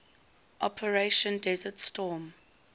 operation desert storm